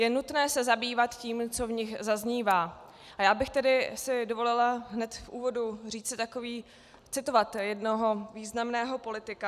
Je nutné se zabývat tím, co v nich zaznívá, a já bych si tedy dovolila hned v úvodu říci takový... citovat jednoho významného politika.